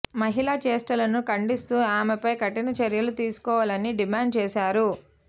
మహిళ చేష్టలను ఖండిస్తూ ఆమెపై కఠిన చర్యలు తీసుకోవాలని డిమాండ్ చేశారు